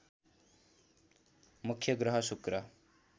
मुख्य ग्रह शुक्र